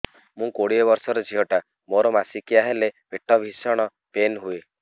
ମୁ କୋଡ଼ିଏ ବର୍ଷର ଝିଅ ଟା ମୋର ମାସିକିଆ ହେଲେ ପେଟ ଭୀଷଣ ପେନ ହୁଏ